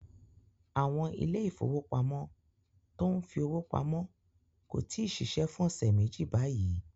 Àwọn ilé ìfowópamọ́ tó ń fi owó pamọ́ kò tí ì ṣiṣẹ́ fún ọ̀sẹ̀ méjì báyìí.